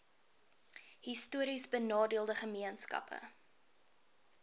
histories benadeelde gemeenskappe